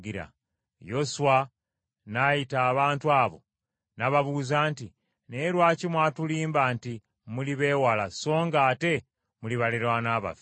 Yoswa n’ayita abantu abo n’ababuuza nti, “Naye lwaki mwatulimba nti muli b’ewala, so nga ate muli baliraanwa baffe?